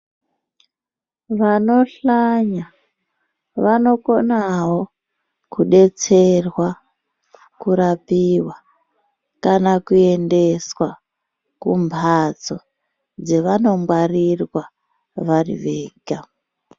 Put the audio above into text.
Vanohlanya vanokonawo kudetserwa kurapiwa kana kuendeswa kumbatso dzevanogwarirwa vari vega.